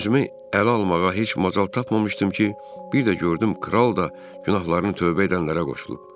Özümü ələ almağa heç macal tapmamışdım ki, bir də gördüm kral da günahlarını tövbə edənlərə qoşulub.